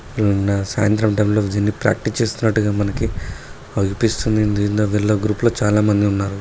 నిన్న సాయంత్రం టైం లో దీన్ని ప్రాక్టీస్ చేస్తున్నట్టుగా మనకి అనిపిస్తుంది. గ్రూప్ లో చాలామంది ఉన్నారు.